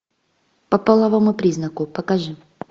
по половому признаку покажи